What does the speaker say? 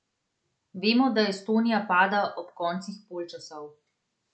Vemo, da Estonija pada ob koncih polčasov.